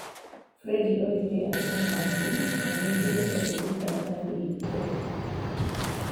Friede oigire atĩ ena wakiri na nĩ ekirite rũũri kandarathi ĩ yo.